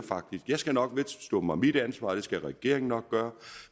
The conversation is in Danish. jeg skal nok vedstå mig mit ansvar og det skal regeringen nok gøre